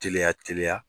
Teliya teliya